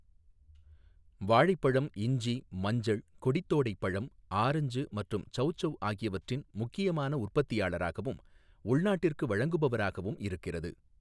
வாழைப்பழம், இஞ்சி, மஞ்சள், கொடித்தோடை பழம், ஆரஞ்சு மற்றும் சௌசௌ ஆகியவற்றின் முக்கியமான உற்பத்தியாளராகவும், உள்நாட்டிற்கு வழங்குபவராகவும் இருக்கிறது.